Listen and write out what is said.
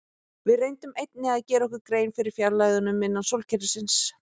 Við reyndum einnig að gera okkur grein fyrir fjarlægðunum innan sólkerfisins.